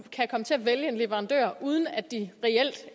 komme til at vælge leverandører uden at de